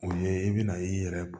O ye i bɛna i yɛrɛ